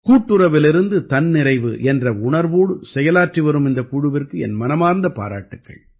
கூட்டுறவிலிருந்து தன்னிறைவு என்ற உணர்வோடு செயலாற்றி வரும் இந்தக் குழுவிற்கு என் மனமார்ந்த பாராட்டுக்கள்